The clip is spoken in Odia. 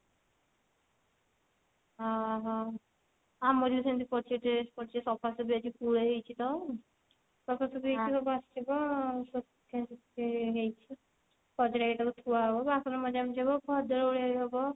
ଓଃ ହୋ ଆମର ବି ସେମିତି ପଡିଛି dress ପଡିଛି ସଫା ସଫି ଆଜି ପୁଳେ ହେଇଛି ତ ସଫାସଫି ହେଇକି ସବୁ ଆସିବ ସଫାସଫି ହେଇଛି ତାପରେ ଏଇଟା ତ ଧୁଆ ହବ ବାସନ ମଜା ମଜି ହବ ଘର ଦ୍ଵାର ଓଳା ହବ